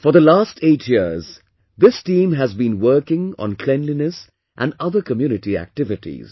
For the last eight years, this team has been working on cleanliness and other community activities